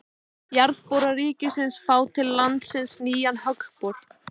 Jarðboranir ríkisins fá til landsins nýjan höggbor